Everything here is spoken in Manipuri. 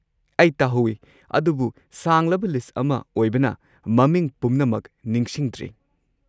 ꯑꯩ ꯇꯥꯍꯧꯏ ꯑꯗꯨꯕꯨ ꯁꯥꯡꯂꯕ ꯂꯤꯁꯠ ꯑꯃ ꯑꯣꯏꯕꯅ ꯃꯃꯤꯡ ꯄꯨꯝꯅꯃꯛ ꯅꯤꯡꯁꯤꯡꯗ꯭ꯔꯦ꯫